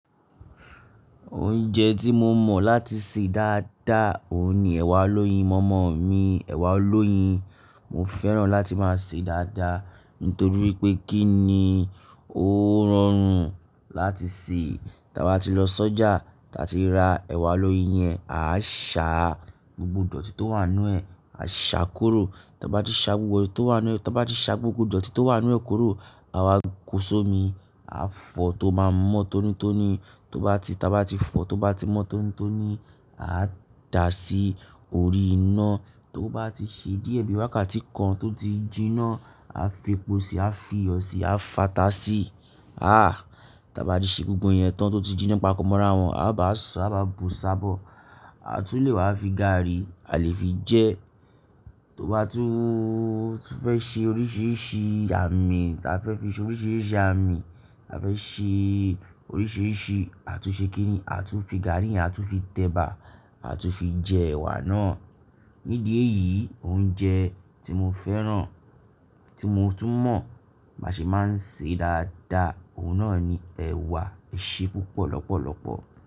Oúnjẹ tí mo mọ̀ láti sè dáadáa òun ni ẹ̀wà alóyin. Mọ̀mọ́ mi, ẹ̀wà alóyin. Mo fẹ́ràn láti máa sè é dáadáa nítorí wi pé kí ni ó rọrùn láti sè. Tí a bá ti lọ sọ́jà, tí a ti ra ẹ̀wà alóyin yẹn, a sá gbogbo dọ̀tí tó wàn nú ẹ̀, a ṣa kuro tí a bá ti sá gbogbo eyi tó wà ínú, tí a bá ti sá gbogbo dọ̀tí tó wà ínú ẹ kuro, àwa kó sómi, a fọ tó má mọ́ tónítóní. Tó bá ti, tí a bá ti fọ, tó bá ti mọ́ tónítóní, a dà á sí orí iná tó bá ti ṣe díẹ̀ bí wákàtí kan tó ti jinná, a fi epo sí i, a fi iyọ̀ sí i, a fà tá sí i. Àh Ta bá ti ṣe gbogbo ẹ̀yẹn tán tó ti jinná papọ̀ mọ́ra wọn, a bá sa, a bá bu s'abọ̀, a tún lè wá fi gààrí, a lè fi jẹẹ́. Tó bá tún fẹ́ ṣe oríṣìíríṣìí àmì tí a fẹ́ fi ṣe oríṣìíríṣìí àmì tí a fẹ́ ṣe oríṣìíríṣìí, a tún ṣe kí ni? A tún fi gààrí yẹn, a tún fi tẹ̀bà, a tún fi jẹ ẹ̀wà náà. Nídi eyìí oúnjẹ tí mo fẹ́ràn tí mo tún mọ̀ báṣe máa ń ṣe dáadáa, òun náà ni ẹ̀wà. Ẹ ṣe púpọ̀ lọ́pọ̀lọ́pọ̀.